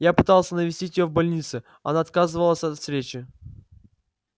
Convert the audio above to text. я пытался навестить её в больнице она отказывается от встречи